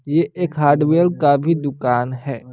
ये एक हार्डवेयर का भी दुकान है।